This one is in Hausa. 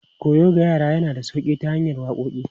Koyo ga yara yana da sauƙi ta hanyar waƙoƙi.